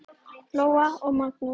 Lóa og Magnús.